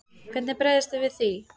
Hvernig bregðist þið við því?